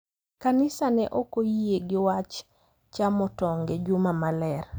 Kanisa ne ok oyie gi wach chamo tong’ e juma maler.